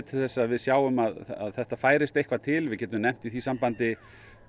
til þess að við sjáum að þetta færist eitthvað til við getum nefnt í því sambandi